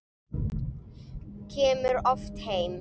Kemur oft heim.